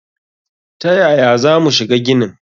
Ta yaya za mu shiga ginin?